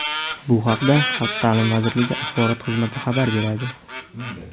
Bu haqda Xalq ta’limi vazirligi Axborot xizmati xabar beradi.